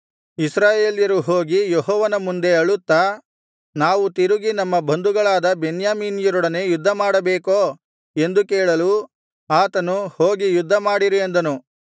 ಇಸ್ರಾಯೇಲ್ಯರು ಹೋಗಿ ಯೆಹೋವನ ಮುಂದೆ ಅಳುತ್ತಾ ನಾವು ತಿರುಗಿ ನಮ್ಮ ಬಂಧುಗಳಾದ ಬೆನ್ಯಾಮೀನ್ಯರೊಡನೆ ಯುದ್ಧಮಾಡಬೇಕೋ ಎಂದು ಕೇಳಲು ಆತನು ಹೋಗಿ ಯುದ್ಧಮಾಡಿರಿ ಅಂದನು